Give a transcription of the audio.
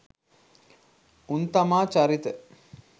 උන් තමා චරිත